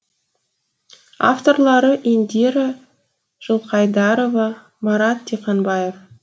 авторлары индира жылқайдарова марат диқанбаев